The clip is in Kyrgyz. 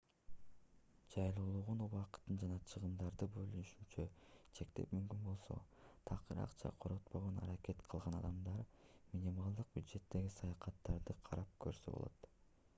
жайлуулугун убакытын жана чыгымдарды болушунча чектеп мүмкүн болсо такыр акча коротпогонго аракет кылган адамдар минималдык бюджеттеги саякаттарды карап көрсө болот